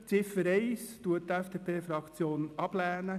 Ziffer 1 lehnt die FDP-Fraktion ab.